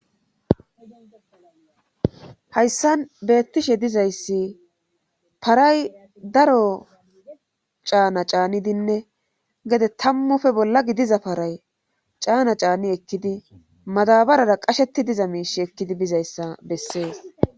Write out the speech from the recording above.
hayssan beettishe dizayssi paray daro caana caanidinne gede tammufe bolla gidiza paray caana caani ekkidi madabarara qasheti diza miish ekkidi bizayssa bessees